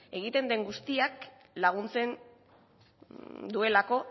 egiten den guztiak laguntzen duelako